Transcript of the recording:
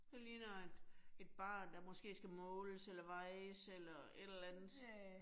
Det ligner et et barn, der måske skal måles eller vejes eller et eller andet